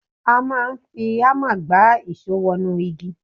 A máa ń fi ámà gbá ìṣó wọnú igi.